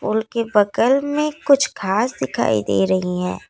फूल के बगल में कुछ घास दिखाई दे रही हैं।